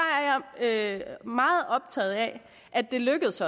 er jeg meget optaget af at det lykkes